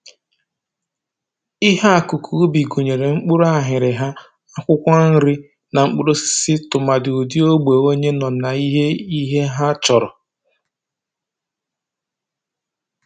Ihe akụkụ ubi gụnyere mkpụrụ aghịrịgha, akwụkwọ nri, na mkpụrụosisi tụmadụ ụdị ogbe onye nọ na ihe ihe ha chọrọ